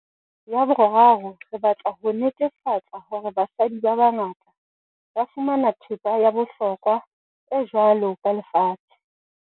Ya boraro, re batla ho netefa-tsa hore basadi ba bangata ba fumana thepa ya bohlokwa e jwalo ka lefatshe.